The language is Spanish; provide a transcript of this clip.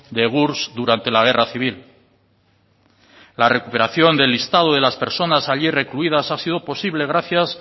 de gurs durante la guerra civil la recuperación del listado de las personas allí recluidas ha sido posible gracias